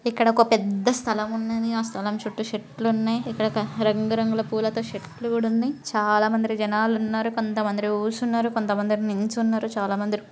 ఇక్కడ ఒక పెద్ద స్థలం ఉన్నది. ఆ స్థలం చుట్టూ చెట్లు ఉన్నాయి.ఇక్కడ ఒక రంగురంగుల పూల తో చెట్లు గూడ ఉన్నాయి.చాలా మంది జనం ఉన్నారు. కొంతమంది కూర్చున్నారు. కొంతమంది నిల్చున్నారు. చాలా మంది--